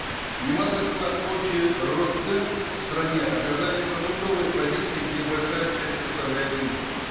немалый вклад в общий рост цен в стране оказали продуктовые позиции где большая часть составляет импорт